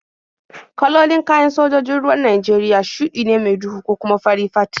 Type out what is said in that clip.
Kalolin kayan sojojin ruwan Najeriya shuɗi ne mai duhu ko kuma fari fat.